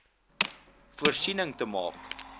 voorsiening te maak